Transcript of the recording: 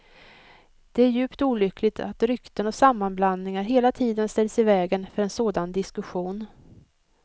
Det är djupt olyckligt att rykten och sammanblandningar hela tiden ställs i vägen för en sådan diskussion.